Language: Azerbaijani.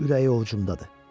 ürəyi ovcumdadır.